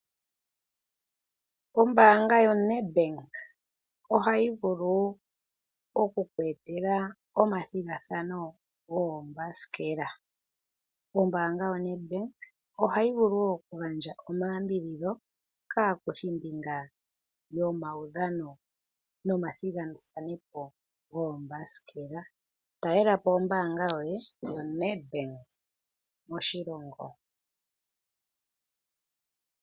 Ombanga yoNedbank ohayi vulu oku ku etela omathigathano goombasikela. Ombanga yoNedbank ohayi vulu wo okugandja omayakulo kaakuthimbinga yomaudhano nomathigathano goombasikela. Talela po ombanga yoye yoNedbank moshilongo.